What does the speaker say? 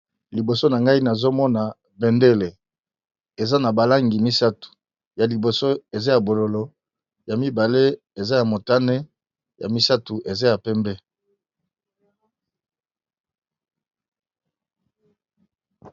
Bendele ya mboka oyo, eza na langi ya motane, ya pembe, pe ya bozinga. Na kati minzoto pe ezali ya motane.